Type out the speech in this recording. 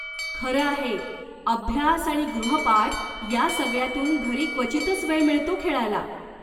खरं आहे, अभ्यास आणि गृहपाठ या सगळ्यातून, घरी क्वचितच वेळ मिळतो खेळायला.